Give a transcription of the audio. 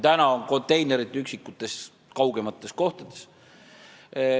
Täna on ju konteinerid üksikutes kaugemates kohtades.